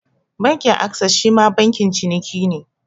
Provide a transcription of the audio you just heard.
Bankin Ases shima bankin ciniki ne.